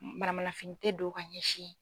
Manamanafini tɛ don ka ɲɛsin yen.